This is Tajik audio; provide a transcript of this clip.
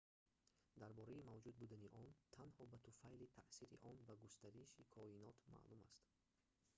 дар бораи мавҷуд будани он танҳо ба туфайли таъсири он ба густариши коинот маълум аст